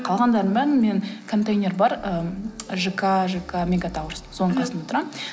қалғандарының бәрін мен контейнер бар ы жк жк мегатауэрс соның қасында тұрамын